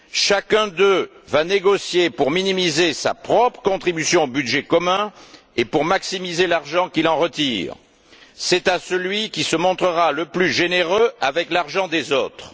Chacun d'eux va négocier pour minimiser sa propre contribution au budget commun et pour maximiser l'argent qu'il en retire. C'est à celui qui se montrera le plus généreux avec l'argent des autres.